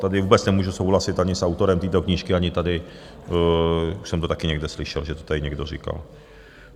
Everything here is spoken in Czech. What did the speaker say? Tady vůbec nemůžu souhlasit ani s autorem této knížky, ani tady - už jsem to také někde slyšel, že to tady někdo říkal.